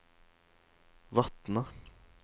Vatne